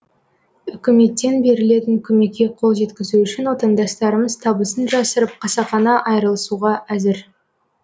үкіметтен берілетін көмекке қол жеткізу үшін отандастарымыз табысын жасырып қасақана айырылысуға әзір